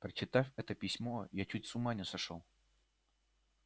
прочитав это письмо я чуть с ума не сошёл